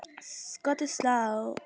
Skot í slá!